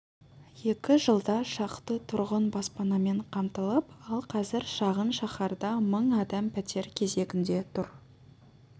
екі жылда шақты тұрғын баспанамен қамтылыпты ал қазір шағын шаһарда мың адам пәтер кезегінде тұр